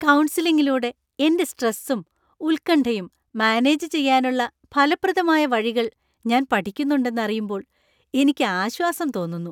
കൗൺസിലിങ്ങിലൂടെ എന്‍റെ സ്‌ട്രെസും, ഉത്കണ്ഠയും മാനേജ് ചെയ്യാനുള്ള ഫലപ്രദമായ വഴികൾ ഞാൻ പഠിക്കുന്നുണ്ടെന്ന് അറിയുമ്പോൾ എനിക്ക് ആശ്വാസം തോന്നുന്നു.